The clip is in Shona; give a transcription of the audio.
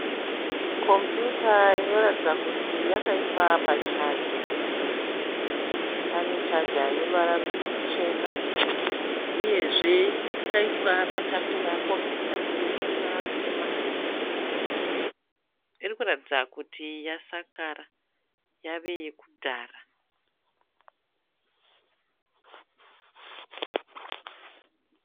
Kombiyuta inoratidza kuti yakaiswa pachaja. Pane chaja ine ruvara ruchena uyezve yakaiswa patafura. Kombiyuta iyi ine ruvara rutema. Iri kuratidza kuti yasakara yava yokudhara.